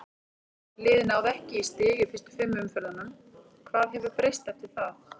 Liðið náði ekki í stig í fyrstu fimm umferðunum, hvað hefur breyst eftir það?